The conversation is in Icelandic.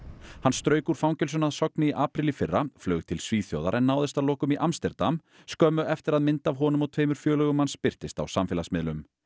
hann strauk úr fangelsinu að Sogni í apríl í fyrra flaug til Svíþjóðar en náðist að lokum í Amsterdam skömmu eftir að mynd af honum og tveimur félögum hans birtist á samfélagsmiðlum